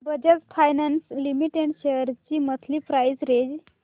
Bajaj finance limited shares ची monthly price range